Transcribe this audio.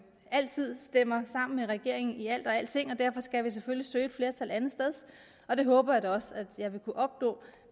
altid stemmer sammen med regeringen i alt og alting derfor skal vi selvfølgelig søge et flertal andetsteds og det håber jeg da også at jeg vil kunne opnå